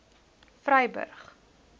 vryburg